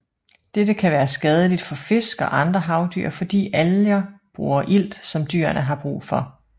Dette kan være skadeligt for fisk og andre havdyr fordi alger bruger ilt som dyrene har brug for